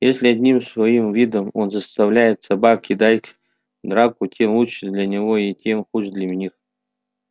если одним своим видом он заставляет собак кидать в драку тем лучше для него и тем хуже для них